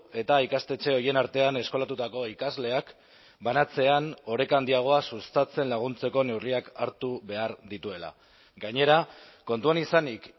eta ikastetxe horien artean eskolatutako ikasleak banatzean oreka handiagoa sustatzen laguntzeko neurriak hartu behar dituela gainera kontuan izanik